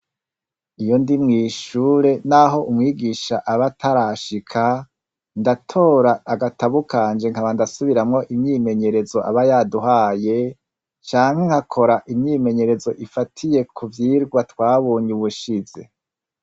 Iyo ndi mw'ishure, naho umwigisha aba atarashika, ndatora agatabu kanje nkaba ndasubiramwo imyimenyerezo aba yaduhaye canke nka kora imyimenyerezo ifatiye ku vyirwa twabonye ubushize.